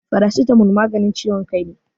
Farasitamol maganin ciwon kai ne.